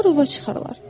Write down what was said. Onlar ova çıxarlar.